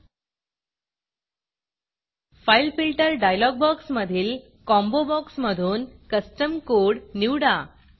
fileFilterफाइल filter dialog बॉक्समधील combo बॉक्समधून custom Codeकस्टम कोड निवडा